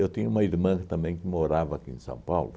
tinha uma irmã também que morava aqui em São Paulo.